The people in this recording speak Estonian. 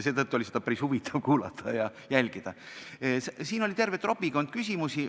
Seetõttu oli neid küsimusi päris huvitav kuulata ja jälgida, siin oli terve trobikond küsimusi.